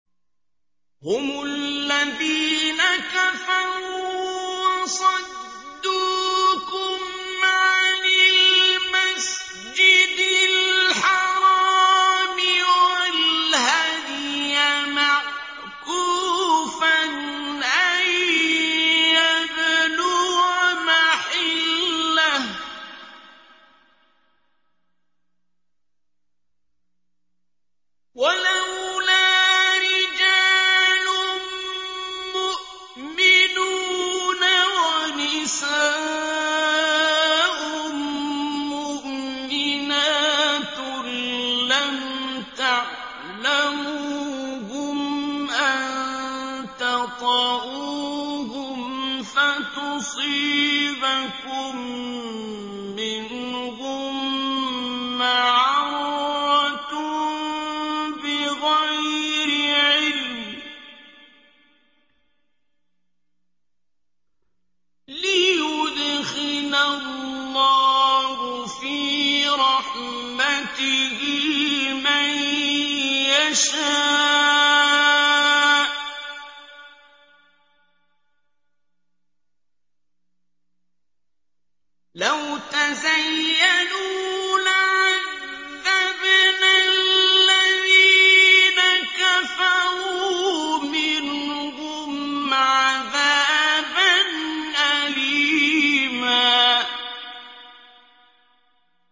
هُمُ الَّذِينَ كَفَرُوا وَصَدُّوكُمْ عَنِ الْمَسْجِدِ الْحَرَامِ وَالْهَدْيَ مَعْكُوفًا أَن يَبْلُغَ مَحِلَّهُ ۚ وَلَوْلَا رِجَالٌ مُّؤْمِنُونَ وَنِسَاءٌ مُّؤْمِنَاتٌ لَّمْ تَعْلَمُوهُمْ أَن تَطَئُوهُمْ فَتُصِيبَكُم مِّنْهُم مَّعَرَّةٌ بِغَيْرِ عِلْمٍ ۖ لِّيُدْخِلَ اللَّهُ فِي رَحْمَتِهِ مَن يَشَاءُ ۚ لَوْ تَزَيَّلُوا لَعَذَّبْنَا الَّذِينَ كَفَرُوا مِنْهُمْ عَذَابًا أَلِيمًا